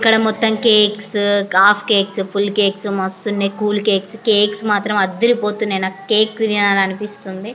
ఇక్కడ మొత్తం cakes half cakes full cakes మస్తు ఉన్నాయి. కూల్ కేక్స్ కేక్స్ మాత్రం ఆదిరి పోతున్నాయి. నాకు కేక్ తినలే అని అనిపిస్తుంది.